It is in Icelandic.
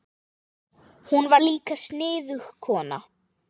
Hún var líka sniðug kona.